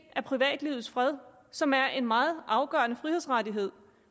af privatlivets fred som er en meget afgørende frihedsrettighed